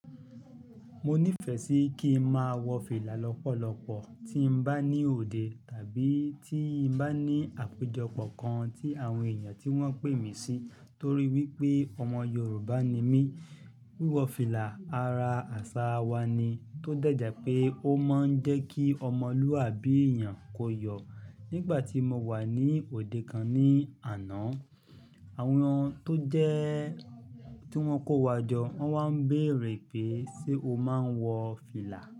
Mo nífẹ̀ẹ́ sí kí n máa wọ fìlà lọ́pọ̀lọpọ̀ tí n bá ní òde tàbí tí n bá ní àpéjọpọ̀ kan tí àwọn èèyàn tí wọ́n pè mí sí torí wípé ọmọ Yorùbá ni mí. Wíwọ fìlà ara àṣà wa ni tó dẹ̀ jẹ́ pé ó máa ń jẹ́ kí ọmọlúàbí èèyàn kó yọ̀. Nígbà tí mo wà ní òde kan ní àná, àwọn tó jẹ́ tí wọ́n kó wa jọ, wọ́n wá ń béèrè pé "ṣé o máa ń wọ fìlà?"